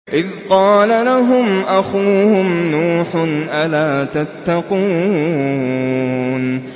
إِذْ قَالَ لَهُمْ أَخُوهُمْ نُوحٌ أَلَا تَتَّقُونَ